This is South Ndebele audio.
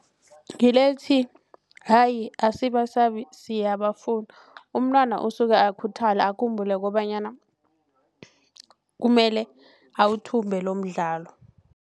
Ngile ethi, hayi asibasabi siyabafuna umntwana usuke akhuthala akhumbula kobanyana kumele awuthumbe lomdlalo.